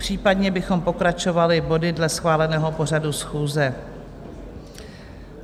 Případně bychom pokračovali body dle schváleného pořadu schůze.